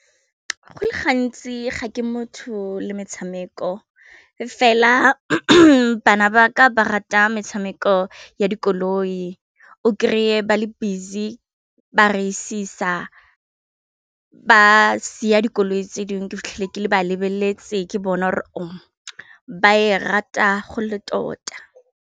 Go le gantsi ga ke motho le metshameko fela bana ba ka ba rata metshameko ya dikoloi o krey-e ba le busy ba raisisa ba si ya dikoloi tse dingwe ke fitlhela ke ba lebeletse ke bona gore ba e rata go le tota.